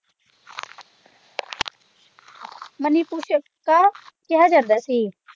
ਮਾਨੀਪੁਸ਼ਕਾ ਕਿਹਾ ਜਾਂਦਾ ਸੀ।